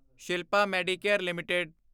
Shilpa Medicare LTD